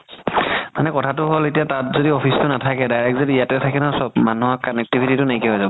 মানে কথাতো হ'ল এতিয়া তাত যদি office তো নাথাকে direct যদি ইয়াতে থাকে ন চ'ব মানুহৰ connectivity তো নাইকিয়া হয় যাব